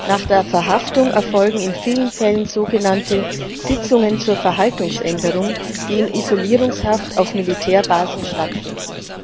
Nach der Verhaftung erfolgen in vielen Fällen sogenannte Sitzungen zur Verhaltensänderung, die in Isolierungshaft auf Militärbasen stattfinden.